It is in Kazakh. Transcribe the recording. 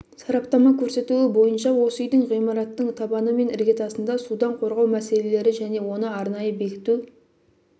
сараптама көрсетуі бойынша осы үйдің ғимараттың табаны мен іргетасында судан қорғау мәселелері және оны арнайы бекіту